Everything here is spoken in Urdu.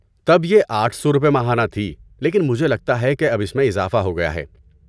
تب یہ آٹھ سو روپے ماہانہ تھی لیکن مجھے لگتا ہے کہ اب اس میں اضافہ ہو گیا ہے